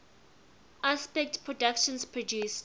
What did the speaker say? aspect productions produced